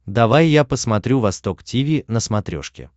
давай я посмотрю восток тиви на смотрешке